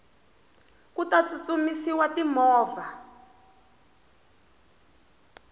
ku ta tsutsumisiwa ti movha